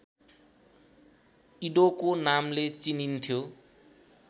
इडोको नामले चिनिन्थ्यो